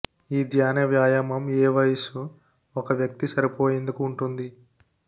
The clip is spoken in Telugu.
ఈ ధ్యాన వ్యాయామం ఏ వయస్సు ఒక వ్యక్తి సరిపోయేందుకు ఉంటుంది